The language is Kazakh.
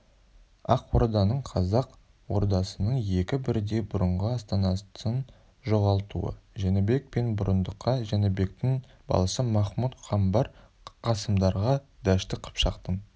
ақ орданың қазақ ордасының екі бірдей бұрынғы астанасын жоғалтуы жәнібек пен бұрындыққа жәнібектің баласы махмұд-қамбар қасымдарға дәшті қыпшақтың